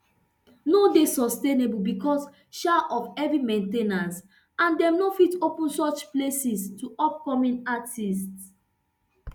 no dey sustainable becos um of heavy main ten ance and dem no fit open such places to upcoming artistes